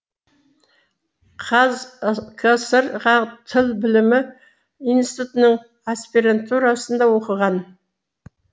қаз кср ға тіл білімі институтының аспирантурасында оқыған